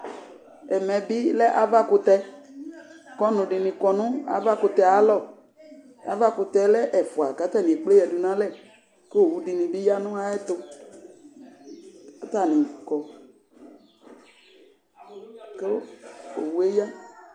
Ɛmɛbi lɛ ava kʋtɛk'ɔnʋɖini kɔnʋ ava kʋtɛ ayalɔAva kʋtɛyɛ lɛ ɛfua k'atani ekpe yea n'alɛK'owuɖini bi yaa n'ayɛtʋk'atani kɔ kʋ owue yaa